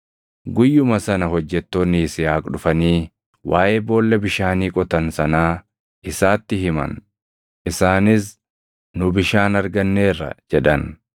Guyyuma sana hojjettoonni Yisihaaq dhufanii waaʼee boolla bishaanii qotan sanaa isaatti himan. Isaanis, “Nu bishaan arganneerra!” jedhan.